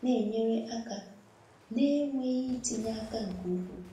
na-enyere aka na-enweghị itinye aka nke ukwuu.